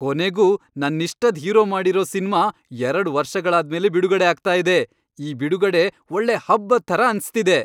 ಕೊನೆಗೂ, ನನ್ನಿಷ್ಟದ್ ಹೀರೋ ಮಾಡಿರೋ ಸಿನ್ಮಾ ಎರಡ್ ವರ್ಷಗಳಾದ್ಮೇಲೆ ಬಿಡುಗಡೆ ಆಗ್ತಾ ಇದೆ, ಈ ಬಿಡುಗಡೆ ಒಳ್ಳೆ ಹಬ್ಬದ್ ಥರ ಅನ್ಸ್ತಿದೆ.